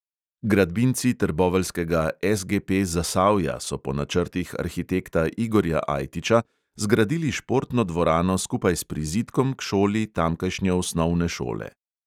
Gradbinci trboveljskega SGP zasavja so po načrtih arhitekta igorja ajtiča zgradili športno dvorano skupaj s prizidkom k šoli tamkajšnje osnovne šole.